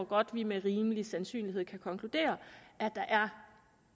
godt med rimelig sandsynlighed kan konkludere at der